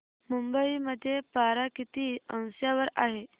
मुंबई मध्ये पारा किती अंशावर आहे